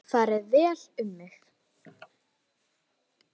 Farið vel um mig?